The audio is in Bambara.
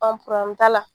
An probilɛmu t'a la